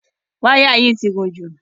Wáyà yìí ti gùn jù.